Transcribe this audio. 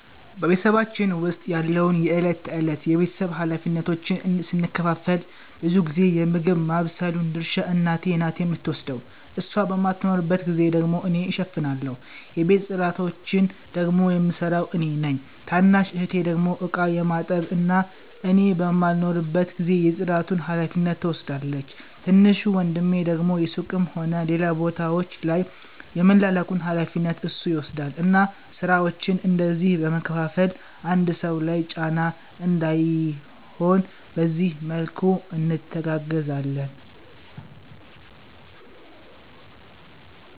በ ቤተሰባችን ዉስጥ ያለውን የ እለት ተእለት የ ቤተሰብ ሀላፊነቶችን ስንከፋፈል ብዙ ጊዜ የ ምግብ ማባብሰሉን ድርሻ እናቴ ናት የምትወስደው እሷ በማትኖርባት ጊዜ ደግሞ እኔ እሸፍናለሁ። የቤት ፅዳቶቺን ደግሞ የምሰራው እኔ ነኝ። ታናሽ እህቴ ደግሞ እቃ የማጠብ እና እኔ በማልኖርበት ጊዜ የ ፅዳቱን ሀላፊነት ትወስዳለቺ። ትንሹ ወንድሜ ደግሞ ሱቅም ሆነ ሌላ ቦታወች ላይ የመላላኩን ሀላፊነት እሱ ይወስዳል እና ስራወቺን እንደዚህ በ መከፋፈል አንድ ሰው ላይ ጫና እንዳይሆን በዚህ መልኩ እንተጋገዛለን